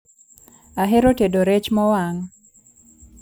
Ahero tedo rech mowang'